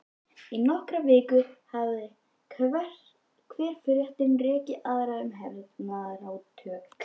Í nokkrar vikur hafði hver fréttin rekið aðra um hernaðarátök